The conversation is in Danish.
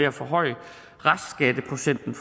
at forhøje restskatteprocenten